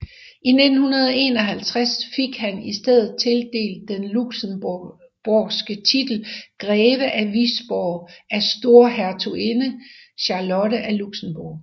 I 1951 fik han istedet tildelt den luxembourgske titel Greve af Wisborg af Storhertuginde Charlotte af Luxembourg